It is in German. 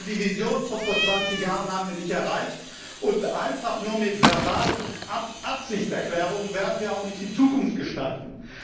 Also die Vision von vor 20 Jahren haben wir nicht erreicht, und einfach nur mit verbalen Absichtserklärungen werden wir auch nicht die Zukunft gestalten.